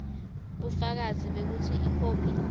bufakazi bekutsi ikhophi